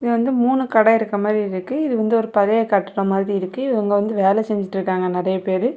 இது வந்து மூணு கடை இருக்கிற மாரி இருக்கு இது வந்து ஒரு பழைய கட்டடமாரி இருக்கு இவங்க வந்து வேலை செஞ்சிட்டு இருக்காங்க நறைய பேரு.